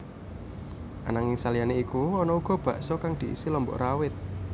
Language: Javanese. Ananging saliyané iku ana uga bakso kang diisi lombok rawit